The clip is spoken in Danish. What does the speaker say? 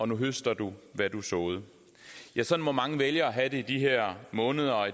nu høster du hvad du såede sådan må mange vælgere have det i de her måneder og